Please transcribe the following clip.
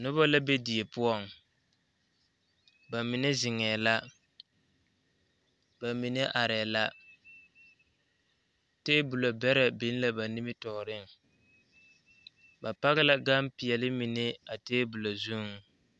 Noba la be die poɔŋ ba mine zeŋɛɛ la ba mine arɛɛ la tabolɔ bɛrɛ biŋ la ba nimitɔɔreŋ ba paki la gampeɛle mine a tabolɔ zuŋ.